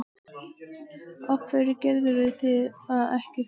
Af hverju gerðuð þið það ekki þá?